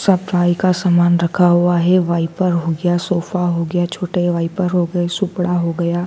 सफाई का सामान रखा हुआ है वाईपर हो गया सोफा हो गया छोटे वाइपर हो गए सुपड़ा हो गया।